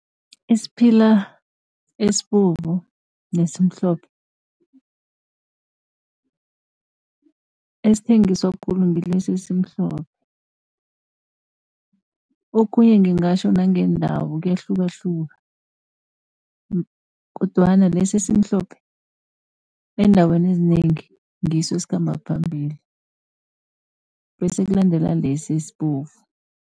isiphila esibovu nesimhlophe, esithengiswa khulu ngilesi esimhlophe. Okhunye ngingatjho nangeendawo kuyahlukahluka kodwana lesi esimhlophe, eendaweni ezinengi ngiso esikhamba phambili, bese kulandela lesi esibovu.